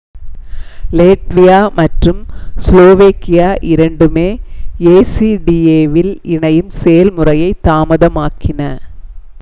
லேட்வியா மற்றும் ஸ்லோவேகியா இரண்டுமே ஏசிடிஏவில் இணையும் செயல்முறையை தாமதமாக்கின